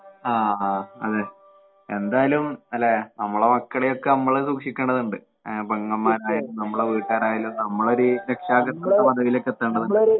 അഹ് അഹ് അതെ എന്തായാലും അല്ലെ നമ്മളെ മക്കളെയൊക്കെ നമ്മള് സൂക്ഷിക്കേണ്ടതുണ്ട്. ആഹ് പെങ്ങന്മാരെ നമ്മളെ വീട്ടുകാരായാലും നമ്മളൊരു രക്ഷാകര്‍തൃത്വ പദവിയിലേക്കെത്തേണ്ടതുണ്ട്.